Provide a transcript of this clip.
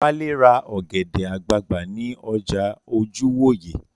Wálé ra ọ̀gẹ̀dẹ̀ àgbagbà ní ọjà Ojúwòyè